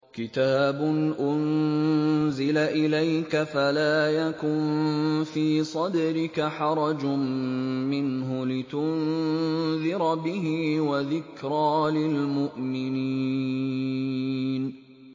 كِتَابٌ أُنزِلَ إِلَيْكَ فَلَا يَكُن فِي صَدْرِكَ حَرَجٌ مِّنْهُ لِتُنذِرَ بِهِ وَذِكْرَىٰ لِلْمُؤْمِنِينَ